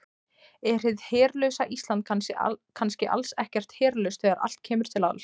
Er hið herlausa Ísland kannski alls ekkert herlaust þegar allt kemur til alls?